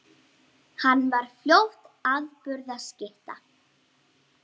Lokaðir eða opnir sjóðir?